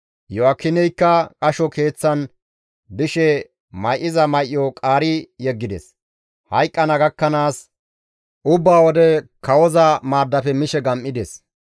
Iyo7aakineykka qasho keeththan dishe may7iza may7o qaari yeggides; hayqqana gakkanaas ubba wode kawoza maaddafe mishe gam7ides.